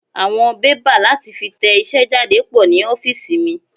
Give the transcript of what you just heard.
Àwọn bébà láti fi tẹ iṣẹ́ jáde pò ní ofiisi mi.